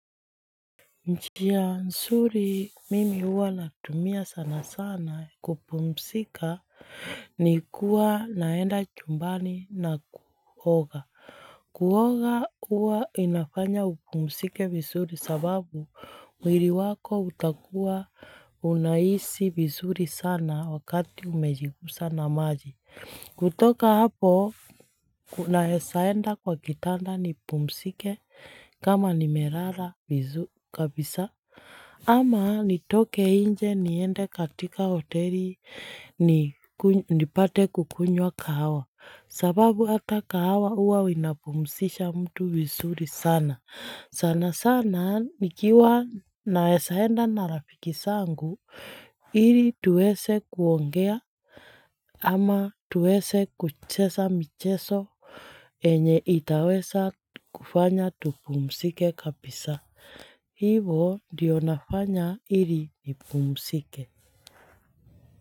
Njia nzuri mimi hutumia sana sana kupumzika ni kwenda nyumbani na kuoga. Kuoga huwafanya upumzike vizuri, kwa sababu mwili wako utakuwa unahisi vizuri sana wakati umegusana na maji. Kutoka hapo, ninaweza kwenda kitandani nipumzike na kulala kabisa ama nitoke nje niende hotelini nipate kunywa kahawa. Kwa sababu hata kahawa huwa humpumzisha mtu vizuri sana sana sana nikiwa ninaweza enda na marafiki zangu Ili tuweze kuongea au kucheza michezo yenye itaweza kufanya tupumzike kabisa. Hivyo ndivyo ninavyofanya ili nipumzike.